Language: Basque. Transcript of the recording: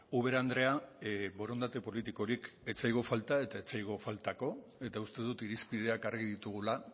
ubera andrea borondate politikorik ez zaigu falta eta ez zaigu faltako eta uste dut irizpideak argi ditugula